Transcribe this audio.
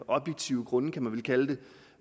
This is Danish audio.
objektive grunde kan man vel kalde